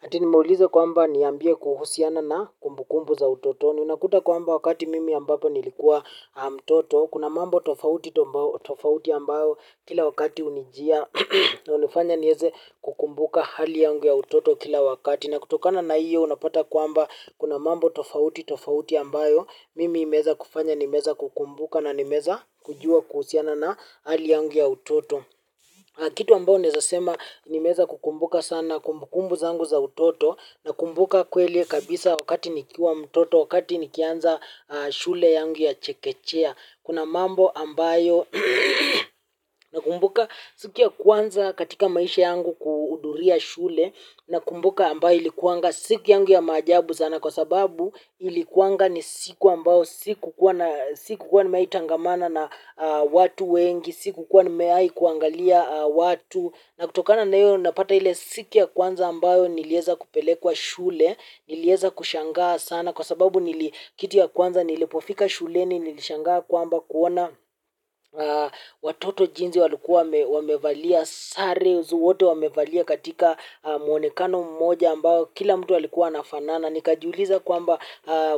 Ati nimeuliza kwamba niambie kuhusiana na kumbukumbu za utotoni. Ninakuta kwamba wakati mimi ambapo nilikuwa mtoto. Kuna mambo tofauti ambayo kila wakati unijia na unifanya nieze kukumbuka hali yangu ya utoto kila wakati. Na kutokana na iyo unapata kwamba kuna mambo tofauti tofauti ambayo. Mimi imeeza kufanya nimeeza kukumbuka na nimeeza kujua kuhusiana na hali yangu ya utoto. Kitu ambao naeza sema nimeeza kukumbuka sana kumbukumbu zangu za utoto na kumbuka kweli kabisa wakati nikiwa mtoto wakati nikianza shule yangu ya chekechea. Kuna mambo ambayo nakumbuka siku ya kwanza katika maisha yangu kuhuduria shule nakumbuka ambayo ilikuanga siku yangu ya maajabusna kwa sababu ilikuanga ni siku ambayo sikukuwa na sikukuwa nimewai tangamana na watu wengi sikukuwa nimewai kuangalia watu na kutokana na iyo napata ile siku ya kwanza ambayo nilieza kupelekwa shule nilieza kushangaa sana kwa sababu nili kitu ya kwanza nilipofika shuleni nilishangaa kwamba kuona watoto jinzi walikuwa wamevalia sare, wote wamevalia katika muonekano mmoja ambao kila mtu walikuwa anafanana. Nikajiuliza kwamba